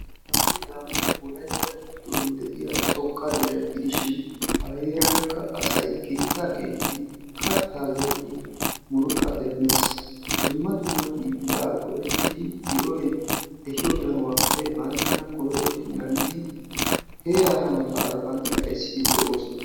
hagee daamooti wolaytta giddon de'iya xoqqa dere gidishin a heerankka asay keettaa keexxidi, kataa zeridi murutaa demees. dumma dumma hiilaa go'etidi di'oy ehiyo danuwaappe banttana koyrottidi naagidi de'oosona.